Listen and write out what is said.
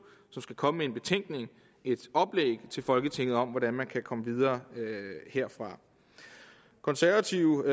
som skal komme med en betænkning et oplæg til folketinget om hvordan man kan komme videre herfra konservative